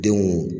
Denw